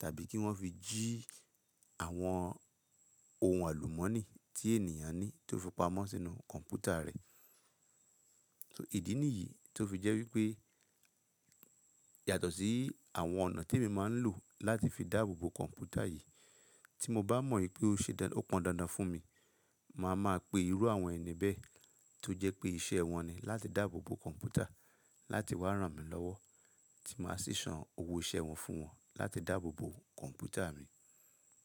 tàbí kí wọ́n fi jí àwọn ohun àlùmọ́nì tí ènìyàn ní tó fi pamọ́ sínú kọ̀ǹpútà rẹ̀. Ìdí nìyí tó fi jẹ́ wípé yàtọ̀ sí àwọn ọ̀nà témi máa ń lò láti fi dáàbò bo kọ̀ǹpútà yìí. Tí mo bá mọ̀ wípé ó ṣe dá-- ó pọn dandan fún mi, ma máa pe irú àwọn ẹni bẹ́ẹ tó jẹ́ pé iṣẹ́ wọn ni láti dáàbò bo kọ̀ǹpútà láti wá ràn mí lọ́wọ́ tí màá sì san owó iṣẹ́ wọn fún wọn láti dáàbò bo kọ̀ǹpútà mi.